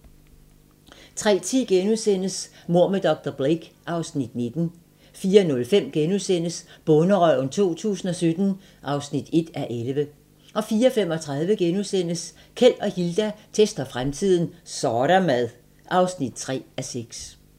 03:10: Mord med dr. Blake (Afs. 19)* 04:05: Bonderøven 2017 (1:11)* 04:35: Keld og Hilda tester fremtiden - Så' der mad! (3:6)*